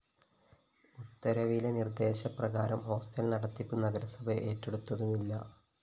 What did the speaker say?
ഉത്തരവിലെ നിര്‍ദ്ദേശപ്രകാരം ഹോസ്റ്റൽ നടത്തിപ്പ് നഗരസഭ ഏറ്റെടുത്തതുമില്ല